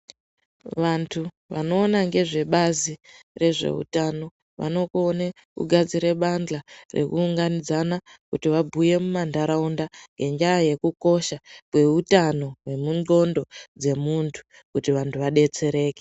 Vantu vanoona ngezvebazi rezveutano, vanokone kugadzire badhla rekuunganidzana kuti vabhuye mumantaraunda, ngendaa yekukosha kweutano hwemundxondo dzemuntu kuti vantu vadetsereke.